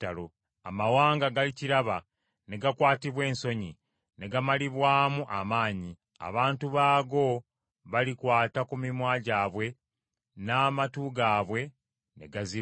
Amawanga galikiraba ne gakwatibwa ensonyi, ne gamalibwamu amaanyi. Abantu baago balikwata ku mimwa gyabwe n’amatu gaabwe ne gaziba.